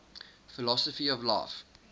philosophy of life